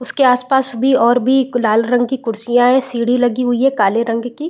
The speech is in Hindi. उसके आस पास भी और भी गुलाल रंग की कुर्सियां हैं सीढ़ी लगी हुई है काले रंग की --